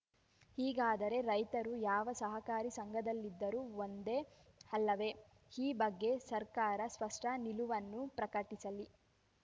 ಹೀಗಾದರೆ ರೈತರು ಯಾವ ಸಹಕಾರಿ ಸಂಘದಲ್ಲಿದ್ದರೂ ಒಂದೇ ಅಲ್ಲವೇ ಈ ಬಗ್ಗೆ ಸರ್ಕಾರ ಸ್ಪಷ್ಟನಿಲುವನ್ನು ಪ್ರಕಟಿಸಲಿ